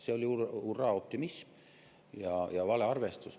See oli hurraa-optimism ja valearvestus.